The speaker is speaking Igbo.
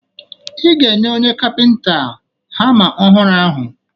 Ị ga-enye onye kapịnta hama ọhụrụ ahụ